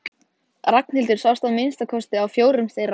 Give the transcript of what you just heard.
Ragnhildur sást að minnsta kosti á fjórum þeirra.